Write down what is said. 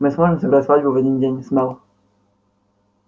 мы сможем сыграть свадьбу в один день с мел